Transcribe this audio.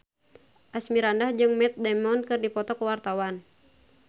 Asmirandah jeung Matt Damon keur dipoto ku wartawan